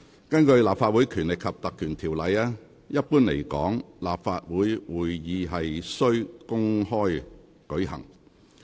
根據《立法會條例》，一般來說，立法會會議須公開舉行。